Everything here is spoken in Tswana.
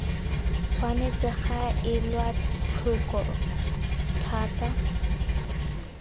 tshwanetse ga elwa tlhoko thata